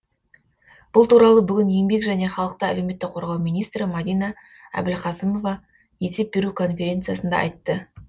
бұл туралы бүгін еңбек және халықты әлеуметтік қорғау министрі мадина әбілқасымова есеп беру конференциясында айтты